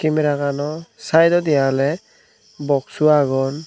ey meragano saedodi oley boksu agon.